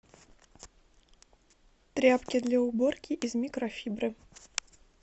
тряпки для уборки из микрофибры